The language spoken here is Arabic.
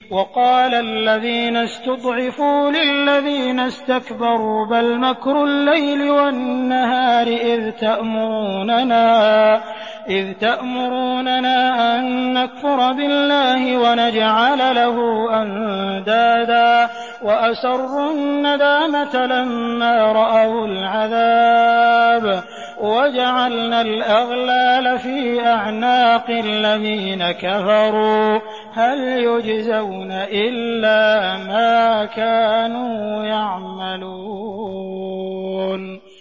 وَقَالَ الَّذِينَ اسْتُضْعِفُوا لِلَّذِينَ اسْتَكْبَرُوا بَلْ مَكْرُ اللَّيْلِ وَالنَّهَارِ إِذْ تَأْمُرُونَنَا أَن نَّكْفُرَ بِاللَّهِ وَنَجْعَلَ لَهُ أَندَادًا ۚ وَأَسَرُّوا النَّدَامَةَ لَمَّا رَأَوُا الْعَذَابَ وَجَعَلْنَا الْأَغْلَالَ فِي أَعْنَاقِ الَّذِينَ كَفَرُوا ۚ هَلْ يُجْزَوْنَ إِلَّا مَا كَانُوا يَعْمَلُونَ